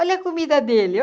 Olha a comida dele.